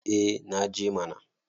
eh naje mana